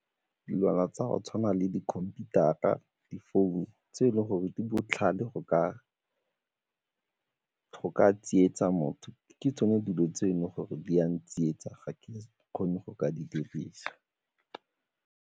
Dilwana tsa go tshwana le di-computer-ra, difounu tse e leng gore di botlhale go ka tsietsa motho, ke tsone dilo tse e leng gore di a ntsietsa, ga ke kgone go ka di dirisa.